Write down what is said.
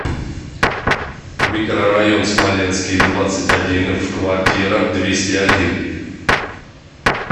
микрорайон смоленский двадцать один в квартира двести один